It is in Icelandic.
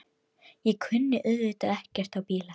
Ég kunni auðvitað ekkert á bíla.